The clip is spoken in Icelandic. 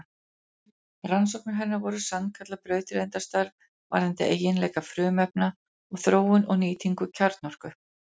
Rannsóknir hennar voru sannkallað brautryðjendastarf varðandi eiginleika frumefna og þróun og nýtingu kjarnorku.